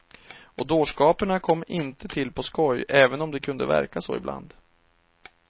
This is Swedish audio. Och dårskaperna kom inte till på skoj, även om det kunde verka så ibland.